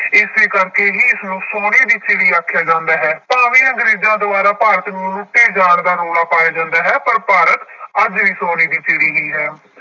ਇਸੇ ਕਰਕੇ ਹੀ ਇਸਨੂੰ ਸੋਨੇ ਦੀ ਚਿੱੜ੍ਹੀ ਆਖਿਆ ਜਾਂਦਾ ਹੈ ਭਾਵੇਂ ਅੰਗਰੇਜ਼ਾਂ ਦੁਆਰਾ ਭਾਰਤ ਨੂੰ ਲੁੱਟੇ ਜਾਣ ਦਾ ਰੌਲਾ ਪਾਇਆ ਜਾਂਦਾ ਹੈ ਪਰ ਭਾਰਤ ਅੱਜ ਵੀ ਸੋਨੇ ਦੀ ਚਿੱੜ੍ਹੀ ਹੀ ਹੈ